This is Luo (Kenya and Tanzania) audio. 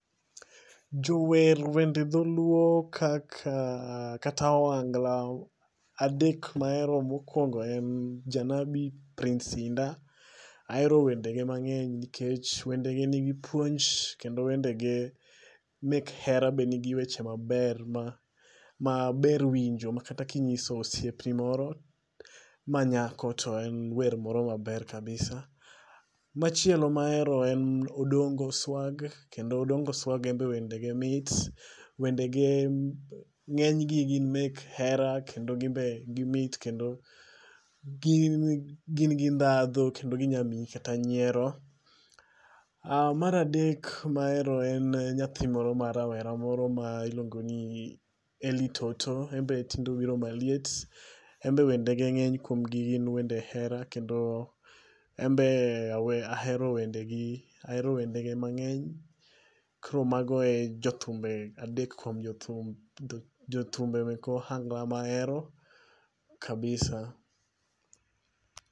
Jower wende dholuo kaka kata ohangla adek mahero mokwongo en Janabi, Prince Hinda. Ahero wende ge mang'eny nikech wendege nigi puonj. Kendo wende ge mek hera be ni gi weche maber maber winjo ma kata kinyiso osiep ni moro ma nyako to en wer moro maber kabisa. Machielo mahero en Odongo Swag. Kendo Odongo Swag en be wende ge mit. Wendege ng'eny gi gin mek hera. Kendo gin be gimit. Kendo gin gi dhadho. Kendo ginya miyi kata nyiero. Mar adek e nyathi moro ma rawera miluongo ni Eli Toto. En be tinde obiro maliet. En be wende ge ng'eny kuom gi wende hera. Kendo en be ahero wende ge mang'eny. Koro mago e jothumbe adek kuom jothumbe mek ohangla mahero kabisa.